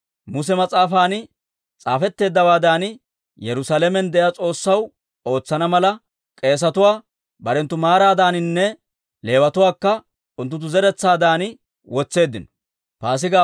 Muse mas'aafan s'aafetteeddawaadan, Yerusaalamen de'iyaa S'oossaw ootsana mala, k'eesetuwaa barenttu maaraadaninne Leewatuwaakka unttunttu zeretsaadan wotseeddino.